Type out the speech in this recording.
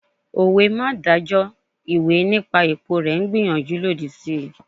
Òwe 'má dájọ́ ìwé nípa èpo rẹ̀' n gbàníyànjú lòdì sí